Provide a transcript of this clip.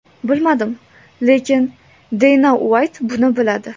Bilmadim, lekin Deyna Uayt buni biladi.